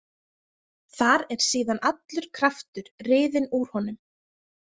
Þar er síðan allur kraftur riðinn úr honum.